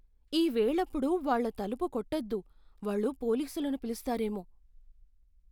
ఈ వేళప్పుడు వాళ్ళ తలుపు కొట్టొద్దు. వాళ్ళు పోలీసులను పిలుస్తారేమో.